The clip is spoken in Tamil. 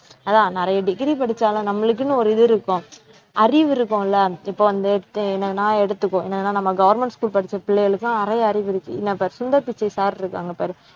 அதான் நிறைய degree படிச்சாலும் நம்மளுக்குன்னு ஒரு இது இருக்கும். அறிவு இருக்கும்ல இப்ப வந்து தே~ என்னது நான் எடுத்துக்கோ என்னதுன்னா நம்ம government school படிச்ச பிள்ளைகளுக்கும் நிறைய அறிவு இருக்கு என்ன இப்ப சுந்தர் பிச்சை sir இருக்காங்க பாருங்க